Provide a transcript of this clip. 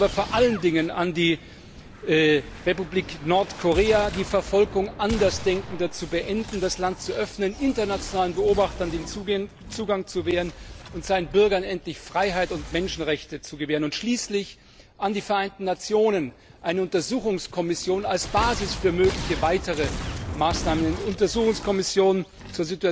Ich appelliere aber vor allen Dingen an die Republik Nordkorea, die Verfolgung Andersdenkender zu beenden, das Land zu öffnen, internationalen Beobachtern den Zugang zu gewähren und ihren Bürgern endlich Freiheit und Menschenrechte zu gewähren, und schließlich an die Vereinten Nationen, eine Untersuchungskommission als Basis für mögliche weitere Maßnahmen, eine Untersuchungskommission zur Untersuchung